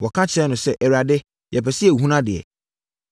Wɔka kyerɛɛ no sɛ, “Awurade, yɛpɛ sɛ yɛhunu adeɛ!”